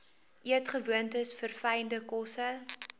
eetgewoontes verfynde kosse